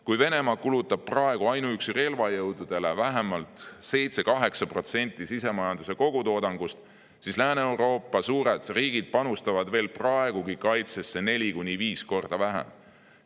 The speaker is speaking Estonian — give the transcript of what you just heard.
Kui Venemaa kulutab praegu ainuüksi relvajõududele vähemalt 7–8% sisemajanduse kogutoodangust, siis Lääne‑Euroopa suured riigid panustavad veel praegugi kaitsesse neli kuni viis korda vähem.